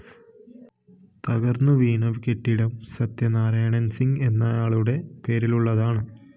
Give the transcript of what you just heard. തകര്‍ന്നു വീണ കെട്ടിടം സത്യനാരായണന്‍ സിംഗ് എന്നയാളുടെ പേരിലുള്ളതാണ്